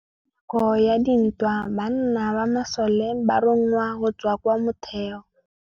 Ka nakô ya dintwa banna ba masole ba rongwa go tswa kwa mothêô.